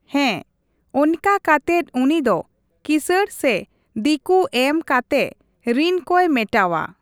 ᱦᱮᱸ ᱚᱱᱠᱟ ᱠᱟᱛᱮᱫ ᱩᱱᱤ ᱫᱚ ᱠᱤᱥᱟᱹᱬ ᱥᱮ ᱫᱤᱠᱩ ᱮᱢ ᱠᱟᱛᱮᱜ ᱨᱤᱱ ᱠᱚᱭ ᱢᱮᱴᱟᱣᱟ ᱾